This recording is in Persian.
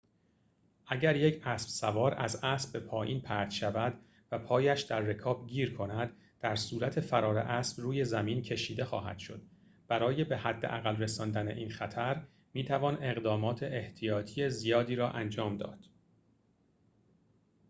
اگر یک اسب سوار از اسب به پایین پرت شود و پایش در رکاب گیر کند در صورت فرار اسب روی زمین کشیده خواهد شد برای به حداقل رساندن این خطر می توان اقدامات احتیاطی زیادی را انجام داد